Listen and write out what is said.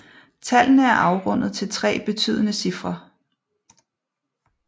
Tallene er afrundet til tre betydende cifre